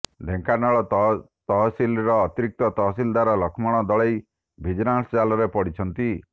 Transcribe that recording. ଢେଙ୍କାନାଳ ତହସିଲର ଅତିରିକ୍ତ ତହସିଲଦାର ଲକ୍ଷ୍ମଣ ଦଳେଇ ଭିଜିଲାନ୍ସ ଜାଲରେ ପଡିଛନ୍ତି